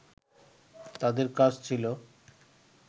তাদের কাজ ছিল